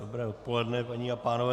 Dobré odpoledne, paní a pánové.